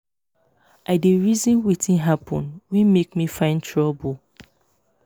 i dey reason wetin happen wey make me find trouble